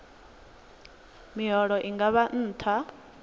miholo i nga vha nṱha